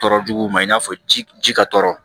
Tɔɔrɔ juguw ma i n'a fɔ ji ji ka tɔɔrɔ